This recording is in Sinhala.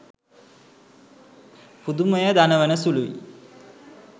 පුදුමය දනවන සුළුයි.